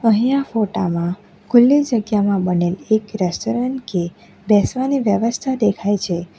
અહીંયા ફોટા માં ખુલ્લી જગ્યામાં બનેલી એક રેસ્ટોરન્ટ કે બેસવાની વ્યવસ્થા દેખાય છે.